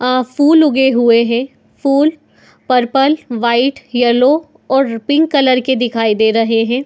आ फूल उगे हुए हैं। फूल पर्पल वाइट येलो और पिंक कलर के दिखाई दे रहे हैं।